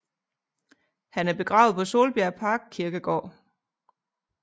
Han er begravet på Solbjerg Parkkirkegård